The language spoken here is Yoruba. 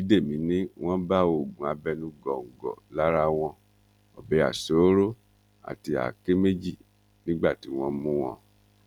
bídèmi ni wọn bá oògùn abẹnú góńgó lára wọn ọbẹ aṣọọrọ àti àáké méjì nígbà tí wọn mú wọn